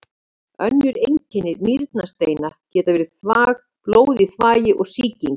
Önnur einkenni nýrnasteina geta verið blóð í þvagi og sýking.